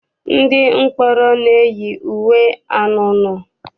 Ndị mkpọrọ na-eyi uwe anunuu.